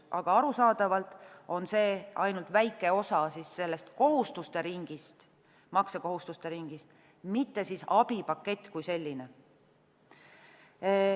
Aga arusaadavalt on see ainult väike osa sellest kohustuste ringist, maksekohustuste ringist, mitte abipakett kui selline.